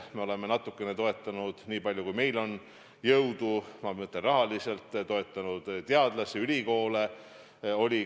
Me oleme natukene toetanud, niipalju kui meil on jõudu – ma mõtlen, rahaliselt toetanud – teadlasi, ülikoole.